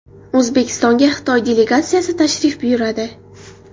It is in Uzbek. O‘zbekistonga Xitoy delegatsiyasi tashrif buyuradi.